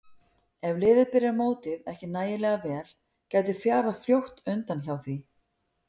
Ef liðið byrjar mótið ekki nægilega vel gæti fjarað fljótt undan hjá því.